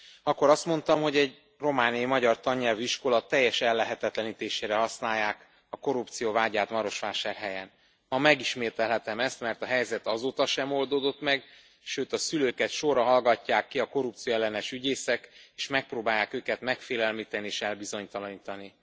Akkor azt mondtam, hogy egy romániai magyar tannyelvű iskola teljes ellehetetlenítésére használják a korrupció vádját Marosvásárhelyen. Ma megismételhetem ezt, mert a helyzet azóta sem oldódott meg, sőt, a szülőket sorra hallgatják ki a korrupcióellenes ügyészek és megpróbálják őket megfélemlíteni és elbizonytalanítani.